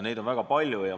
Neid on väga palju.